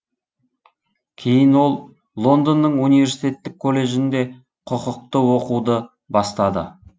кейін ол лондонның университеттік колледжінде құқықты оқуды бастады